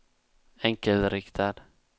enkelriktad